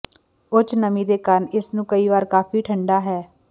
ਉੱਚ ਨਮੀ ਦੇ ਕਾਰਨ ਇਸ ਨੂੰ ਕਈ ਵਾਰ ਕਾਫ਼ੀ ਠੰਢਾ ਹੈ